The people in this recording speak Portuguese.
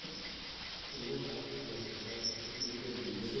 Eu vou voltar para Portugal. Desculpa, é que me perdi. você